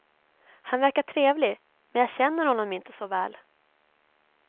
Han verkar trevlig, men jag känner honom inte så väl.